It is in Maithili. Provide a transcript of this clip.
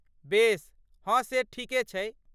बेस। हँ से ठीके छै।